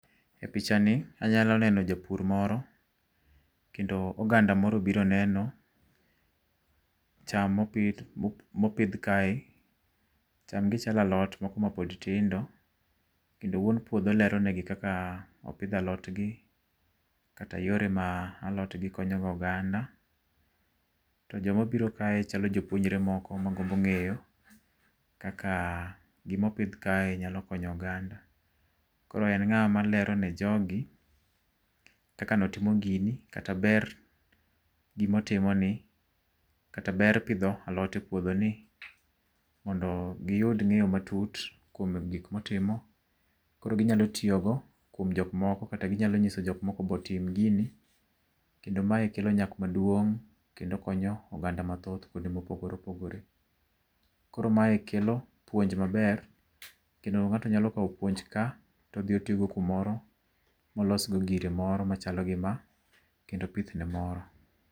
E picha ni anyalo neno japur moro kendo oganda moro obiro neno cham ma opidh ma opidh kae gi chalo alot ma pod tindo kendo wuon puodho lero ne gi kaka opidho alot gi kata yore ma alot konyo go oganda, to jo ma obiro kae chalo jopuonjre moko ma gombo ng'eyo kaka gi ma opidh kae nyalo konyo oganda, koro en ng'a ma lero ne jo go kaka ne otimo gini kata ber gi ma otimo ni kata ber pidho alot e puodho ni mondo gi yud ngeyo matut kuom gik mo otimo koro gi nyalo tiyo go kuom jok moko kata nyalo ng'iso jok moko be otim gini to ma kelo nyak maduong' kendo konyo oganda mathoth kuonde ma opogore opogore .Koro mae kelo puonj ma ber kendo ng'ato nyalo kawo puonj ka, to odhi oti go kumoro ma olos go gire moro ma chalo gi ma keto pith ne moro.